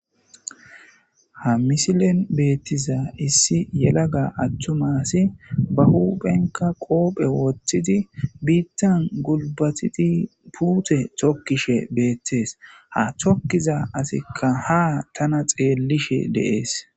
Ta misilen beettiza issi yelaga attumasi ba huphenka qoophe woththidi biittan gulbatidi puute tokkishe beettees ha thokkiza asikka ha tana xeellishe deees.